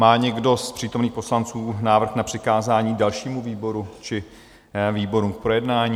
Má někdo z přítomných poslanců návrh na přikázání dalšímu výboru či výborům k projednání?